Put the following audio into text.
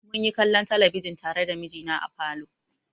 Mun yi kallon talabijin tare da mijina a falo.